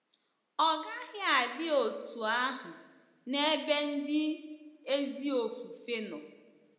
Ọ gaghị adi otú ahụ n’ebe ndị ezi ofufe nọ.